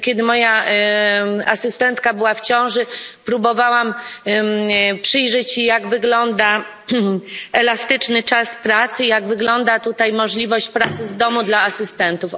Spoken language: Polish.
Ja, kiedy moja asystentka była w ciąży, próbowałam przyjrzeć się, jak wygląda elastyczny czas pracy, jak wygląda tutaj możliwość pracy z domu dla asystentów.